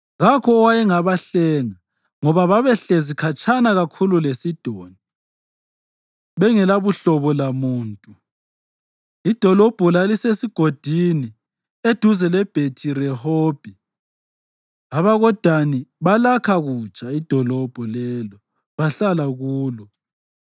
Kakho owayengabahlenga ngoba babehlezi khatshana kakhulu leSidoni bengelabuhlobo lamuntu. Idolobho lalisesigodini eduze leBhethi-Rehobhi. AbakoDani balakha kutsha idolobho lelo bahlala kulo.